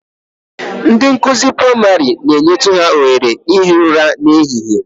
Ndị nkụzi praịmarị na-enyetụ ha ohere ihi ụra n'ehihie